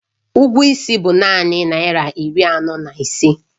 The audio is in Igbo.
Ụgwọ is bụ naanị naira iri anọ na ise